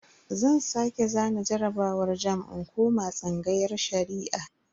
Zan sake zana jarabawar jamb in koma tsangayar Shari'a.